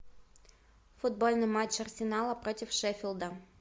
футбольный матч арсенала против шеффилда